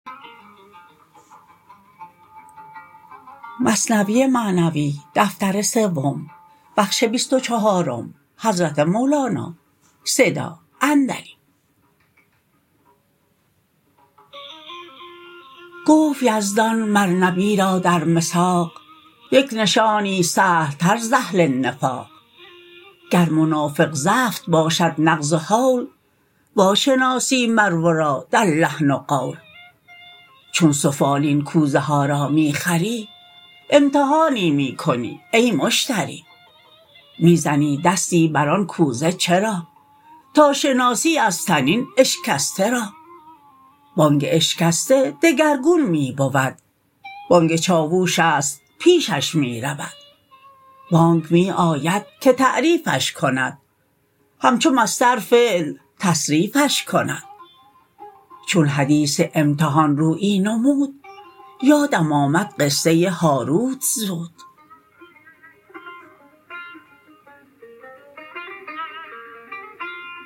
گفت یزدان مر نبی را در مساق یک نشانی سهل تر ز اهل نفاق گر منافق زفت باشد نغز و هول وا شناسی مر ورا در لحن و قول چون سفالین کوزه ها را می خری امتحانی می کنی ای مشتری می زنی دستی بر آن کوزه چرا تا شناسی از طنین اشکسته را بانگ اشکسته دگرگون می بود بانگ چاووشست پیشش می رود بانگ می آید که تعریفش کند همچو مصدر فعل تصریفش کند چون حدیث امتحان رویی نمود یادم آمد قصه هاروت زود